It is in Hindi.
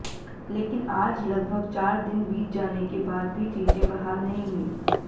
लेकिन आज लगभग चार दिन बीत जाने के बाद भी चीजें बहाल नहीं हुई